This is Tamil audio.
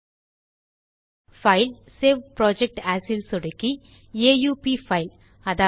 பைல் ஜிடிஜிடி சேவ் புரொஜெக்ட் ஏஎஸ் ல் சொடுக்கி ஆ உ ப் பைல் iஎ